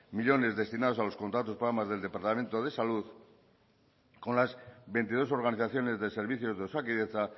millónes destinados a los contratos programa del departamento de salud con las veintidós organizaciones de servicios de osakidetza